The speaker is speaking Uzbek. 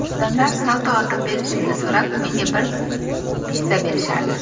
Odamlar salto otib berishimni so‘rab, menga bir peso berishardi.